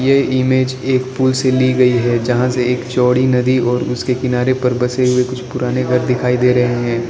ये इमेज एक पुल से ली गई है जहां से एक चौड़ी नदी और उसके किनारे पर बसे हुए कुछ पुराने घर दिखाई दे रहे हैं।